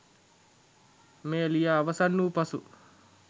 මෙය ලියා අවසන් වූ පසු